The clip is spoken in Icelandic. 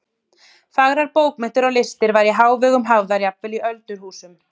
Fagrar bókmenntir og listir væru í hávegum hafðar jafnvel í öldurhúsum.